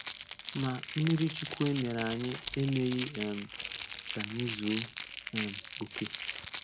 Ma, mmirichukwu e mere anyị emeghị um ka anyị zuo um oke.